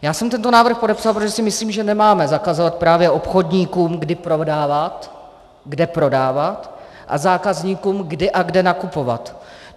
Já jsem tento návrh podepsal, protože si myslím, že nemáme zakazovat právě obchodníkům, kdy prodávat, kde prodávat, a zákazníkům, kdy a kde nakupovat.